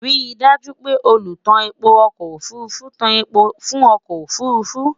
rí daaju pé olu tá èpo ọkọ òfurufú tá èpo fún ọkọ òfurufú